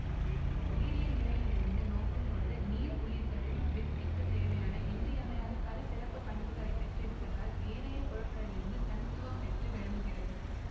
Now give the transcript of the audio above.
உயிரியற் நிலையிலிருந்து நோக்கும் பொழுது நீர் உயிர்களின் விருத்திக்குத் தேவையான இன்றியமையாத பல சிறப்பு பண்புகளை பெற்றிருப்பதால் ஏனைய பொருட்களிலிருந்து தனித்துவம் பெற்று விளங்குகிறது